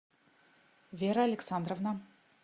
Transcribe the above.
вера александровна